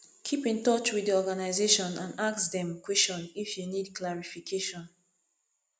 keep in touch with the organisation and ask dem question if you need clarification